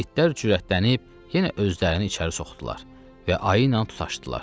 İtlər cürətlənib yenə özlərini içəri soxdular və ayı ilə tutaşdılar.